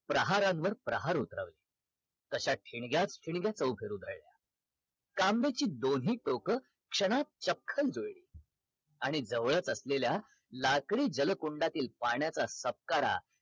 प्रहारांवर प्रहार उतरवत तश्या ठिणग्या ठिणग्या चौफेर उधळल्या तांब्याची दोन्ही टोक क्षणात चक्ख जुळली आणि जवळच असलेल्या लाकडी जल कुंडातील पाण्याचा सपकारा